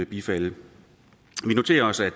bifalde vi noterer os at